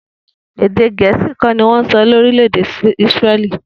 Èdè Gè̩é̩sì kó̩ ni wó̩n so̩ ní orílè̩ èdè Isre̩lí